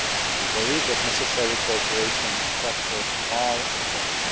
We believe that necessary cooperation structures are in place